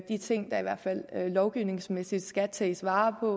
de ting der i hvert fald lovgivningsmæssigt skal tages vare på